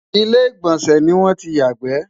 ilé igbọnsẹ ní wọn tí yà gbe